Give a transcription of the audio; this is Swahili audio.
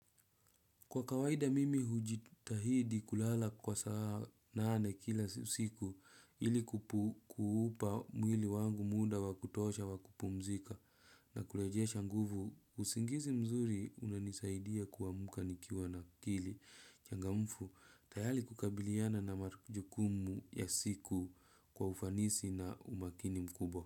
Kwa kawaida mimi hujitahidi kulala kwa saa nane kila siku ili kuupa mwili wangu muda wakutosha wa kupumzika na kurejesha nguvu. Usingizi mzuri, unanisaidia kuamka nikiwa na akili. Changamfu tayali kukabiliana na majukumu ya siku kwa ufanisi na umakini mkubwa.